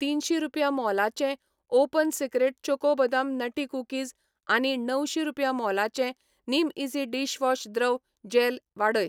तीनशीं रुपया मोलाचें open secret choco बदाम नटी कुकीज आनी णवशीं रुपया मोलाचें निमईझी डिशवॉश द्रव जॅल वाडय.